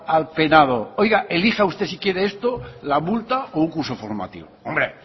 al penado oiga elija usted si quiere esto la multa o un curso formativo hombre